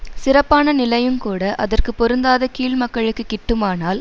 சிறப்பான நிலையுங்கூட அதற்கு பொருந்தாத கீழ் மக்களுக்கு கிட்டுமானால்